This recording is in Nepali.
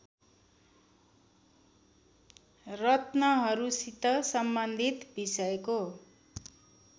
रत्नहरूसित सम्बन्धित विषयको